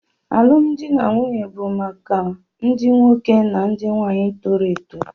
Alụmdi na nwunye bụ maka ndị nwoke na ndị nwaanyị toro eto